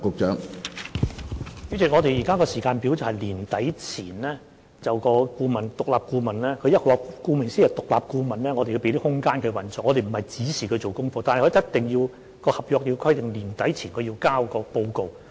主席，我們現在的時間表是在年底前，獨立顧問——顧名思義，既然是獨立顧問，我們須給它空間來運作，我們不是指示它做功課的——但合約規定必須在年底前提交報告。